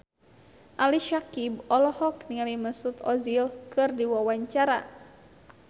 Ali Syakieb olohok ningali Mesut Ozil keur diwawancara